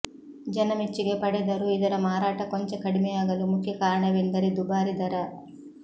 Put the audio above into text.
ಜನಮೆಚ್ಚುಗೆ ಪಡೆದರೂ ಇದರ ಮಾರಾಟ ಕೊಂಚ ಕಡಿಮೆಯಾಗಲು ಮುಖ್ಯ ಕಾರಣವೆಂದರೆ ದುಬಾರಿ ದರ